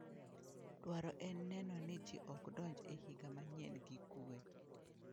Dwaro en neno ni ji ok donj e higa manyien gi kuwe.